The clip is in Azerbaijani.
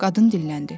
Qadın dilləndi.